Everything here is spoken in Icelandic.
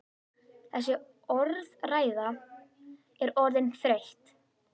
Þessi orðræða er orðin þreytt!